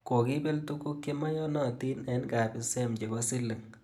Kokibel tuguk chemeyonotin eng kabisem chebo siling